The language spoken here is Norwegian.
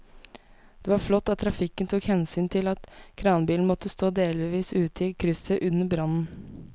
Det var flott at trafikken tok hensyn til at kranbilen måtte stå delvis ute i krysset under brannen.